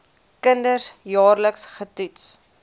kinders jaarliks getoets